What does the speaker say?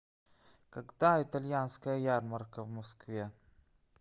когда итальянская ярмарка в москве